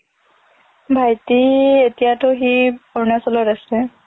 ভাইটি এতিয়াতো সি অৰুণাচলত আছে